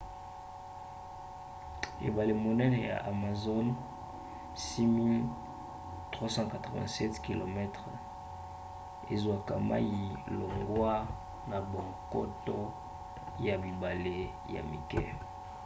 ebale monene ya amazon 6 387 km 3 980 miles. ezwaka mai longwa na bankoto ya bibale ya mike